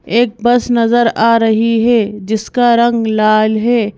एक बस नजर आ रही है जिसका रंग लाल है।